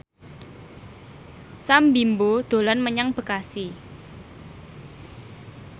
Sam Bimbo dolan menyang Bekasi